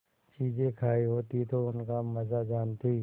चीजें खायी होती तो उनका मजा जानतीं